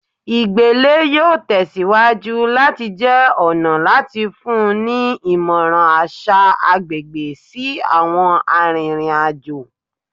igbele yoo tẹsiwaju lati jẹ ọna lati funni ni imọran aṣa agbegbe si awọn aririn ajo